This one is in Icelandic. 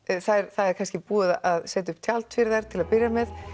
það er búið að setja upp tjald fyrir þær til að byrja með